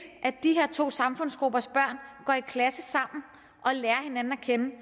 at de her to samfundsgruppers børn går i klasse sammen og lærer hinanden at kende